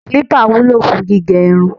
clipper wúlò fún gígé irun